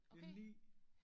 Det 9